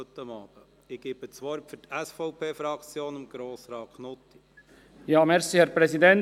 Ich gebe das Wort für die SVP-Fraktion Grossrat Knutti.